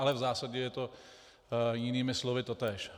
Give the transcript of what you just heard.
Ale v zásadě je to jinými slovy totéž.